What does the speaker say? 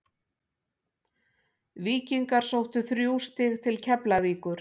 Víkingar sóttu þrjú stig til Keflavíkur.